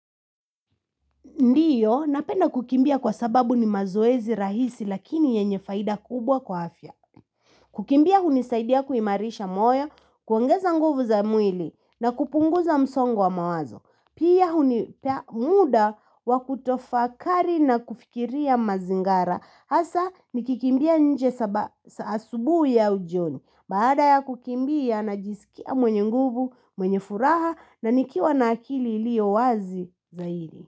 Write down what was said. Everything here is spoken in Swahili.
Ndio, napenda kukimbia kwa sababu ni mazoezi rahisi lakini yenye faida kubwa kwa afya. Kukimbia hunisaidia kuimarisha moyo, kuongeza nguvu za mwili na kupunguza msongo wa mawazo. Pia hunipea muda wa kutofakari na kufikiria mazingara. Hasa nikikimbia nje asubuhi au jioni. Baada ya kukimbia najisikia mwenye nguvu, mwenye furaha na nikiwa na akili iliyowazi zaidi.